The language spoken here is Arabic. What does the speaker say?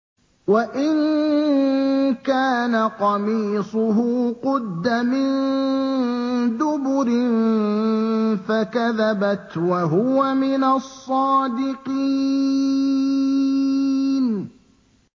وَإِن كَانَ قَمِيصُهُ قُدَّ مِن دُبُرٍ فَكَذَبَتْ وَهُوَ مِنَ الصَّادِقِينَ